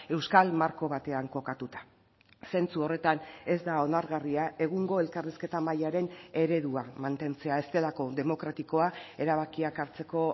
euskal marko batean kokatuta zentzu horretan ez da onargarria egungo elkarrizketa mahaiaren eredua mantentzea ez delako demokratikoa erabakiak hartzeko